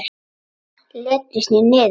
Letrið snýr niður.